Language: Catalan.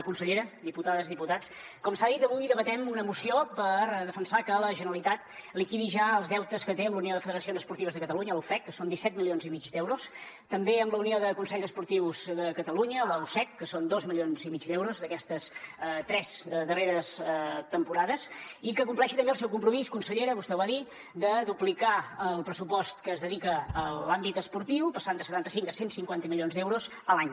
consellera diputades diputats com s’ha dit avui debatem una moció per defensar que la generalitat liquidi ja els deutes que té amb la unió de federacions esportives de catalunya la ufec que són disset milions i mig d’euros també amb la unió de consells esportius de catalunya la ucec que són dos milions i mig d’euros d’aquestes tres darreres temporades i que compleixi també el seu compromís consellera vostè ho va dir de duplicar el pressupost que es dedica a l’àmbit esportiu passant de setanta cinc a cent i cinquanta milions d’euros l’any